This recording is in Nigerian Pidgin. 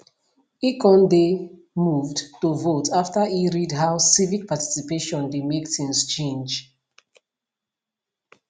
e kon dey moved to vote after e read how civic participation dey make things change